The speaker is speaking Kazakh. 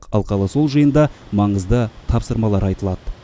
алқалы сол жиында маңызды тапсырмалар айтылады